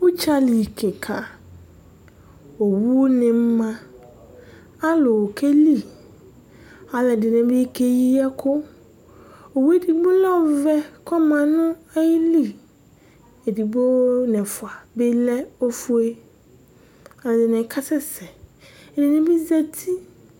udzali kika owu ni ma, alu keli , alu ɛdini bi keyi ɛku, owu edigbo lɛ ɔvɛ kɔma nu ayili, edigbo nu ɛfʋa bi lɛ ofue, ɛdini kasɛsɛ, ɛdini bi zati